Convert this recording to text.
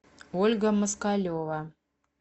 ольга москалева